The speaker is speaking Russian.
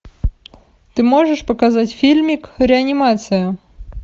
ты можешь показать фильмик реанимация